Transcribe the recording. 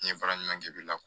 N ye baara ɲuman kɛli la